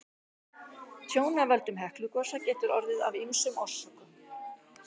Tjón af völdum Heklugosa getur orðið af ýmsum orsökum.